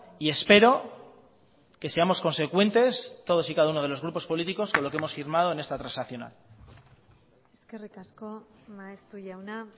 y espero que seamos consecuentes todos y cada uno de los grupos políticos con lo que hemos firmado en esta transaccional eskerrik asko maeztu jauna